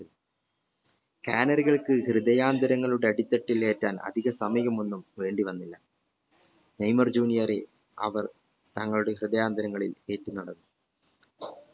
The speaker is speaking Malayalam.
gallery ക്ക് ഹൃദയാരങ്ങളുടെ അടിത്തട്ടിൽ ഏറ്റാൻ അധിക സമയം ഒന്നും വേണ്ടി വന്നില്ല നെയ്മർ junior റെ അവർ തങ്ങളുടെ ഹൃദയാന്തരങ്ങളിൽ ഏറ്റി